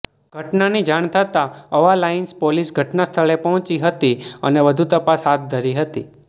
ઘટનાની જાણ થતા અવાલાઈન્સ પોલીસ ઘટના સ્થળે પહોંચી હતી અને વધુ તપાસ હાથ ધરી હતી